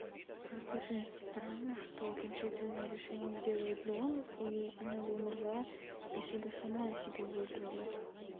просто очень странно что окончательное решение делают дом и она бы умерла если бы сама себе выбрала